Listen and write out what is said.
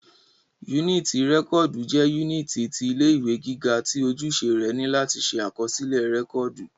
Yúnìtì rẹ́kọ̀dù jẹ́ yúnìtì ti ilé ìwé gíga tí ojúṣe rẹ ni láti ṣe àkọsílẹ̀ rẹ́kọ̀dù